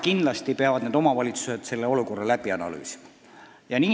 Kindlasti peavad need omavalitsused konkreetse olukorra läbi analüüsima.